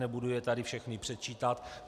Nebudu je tady všechny předčítat.